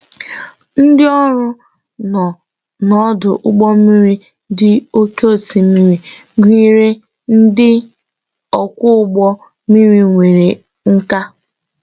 Ndị ọrụ nọ n'ọdụ ụgbọ mmiri dị n'oké osimiri gụnyere ndị ọkwọ ụgbọ mmiri nwere nkà